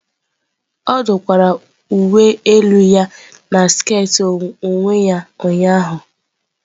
Ọ dụkwara uwe elu ya na sket onwe ya ụnyahụ.